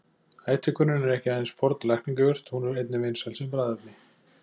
Ætihvönnin er ekki aðeins forn lækningajurt, hún er einnig vinsæl sem bragðefni.